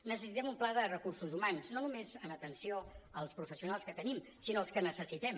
necessitem un pla de recursos humans no només en atenció als professionals que tenim sinó als que necessitem